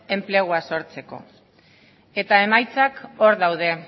enplegua sortzeko eta emaitzak hor daude